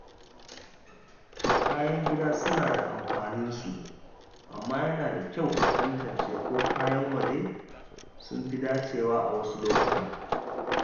Kayan gida suna da amfanin su, amma yana da kyau a tantance ko kayan waje sun fi dacewa a wasu lokuta.